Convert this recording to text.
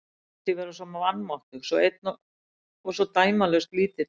Mér fannst ég vera svo vanmáttugur, svo einn og svo dæmalaust lítill.